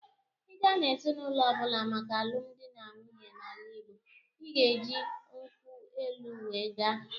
Ị gaa n'ezinaụlọ ọbụla maka alụmdi na nwunye n'ala Igbo, ị ga-eji nkwụ elụ wee gaa.